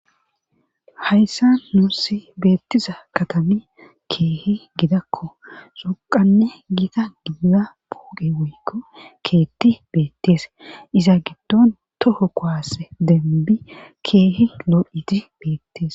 Hayssa nuussi beettiza katami keehi gidakko xoqanne giita dinla pouqe woykko keetti beettees iza giddon toho kowaasse dembi keehi lo'iti beettees.